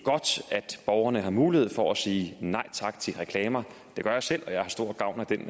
borgerne har mulighed for at sige nej tak til reklamer det gør jeg selv og jeg har stor gavn af den